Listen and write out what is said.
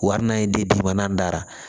Wa hali n'a ye di biman dara